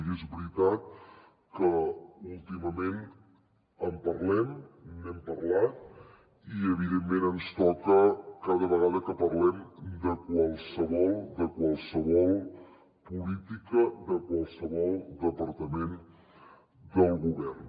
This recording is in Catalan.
i és veritat que últimament en parlem n’hem parlat i evidentment ens toca cada vegada que parlem de qualsevol política de qualsevol departament del govern